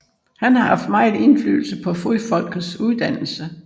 Han har haft megen indflydelse på Fodfolkets uddannelse